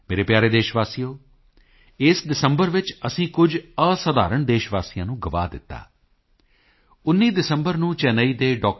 ਮੇਰੇ ਪਿਆਰੇ ਦੇਸ਼ ਵਾਸੀਓ ਇਸ ਦਸੰਬਰ ਵਿੱਚ ਅਸੀਂ ਕੁਝ ਅਸਧਾਰਣ ਦੇਸ਼ ਵਾਸੀਆਂ ਨੂੰ ਗੁਆ ਦਿੱਤਾ 19 ਦਸੰਬਰ ਨੂੰ ਚੇਨਈ ਦੇ ਡਾ